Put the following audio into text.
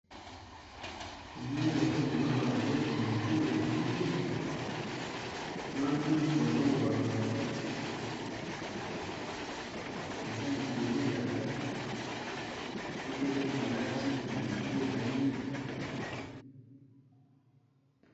Tomoni bazo kolamba biloko n'a nzungu ya mwindu na lutu bazakobalula biloko eza liko ya, sokî likolo ya kiti sokî ezali.